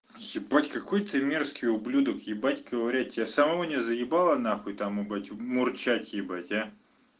ебать какой ты мерзкий ублюдок ебать ковырять тебя самому не заебало нахуй там ебать мурчать ебать а